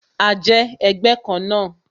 A jẹ́ ẹgbẹ́ kan náà